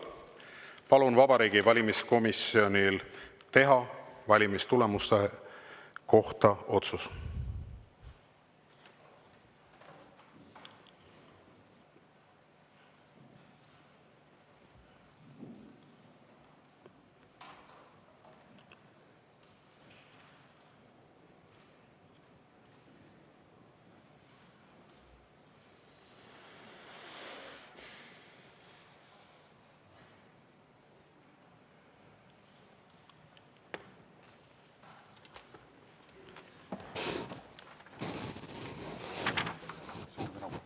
Palun Vabariigi Valimiskomisjonil teha valimistulemuse kohta otsus.